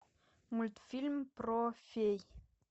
мультфильм про фей